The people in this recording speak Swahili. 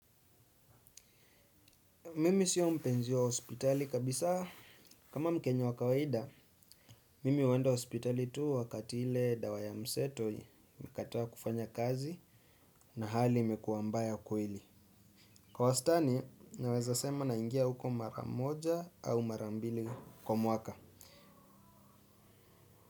Mimi sio mpenzi wa hospitali kabisa kama mkenya wa kawaida mimi huenda hospitali tu wakati ile dawa ya mseto imekataa kufanya kazi na hali imekuwa mbaya kuhili. Kwa wastani naweza sema naingia huko mara moja au mara mbili kwa mwaka.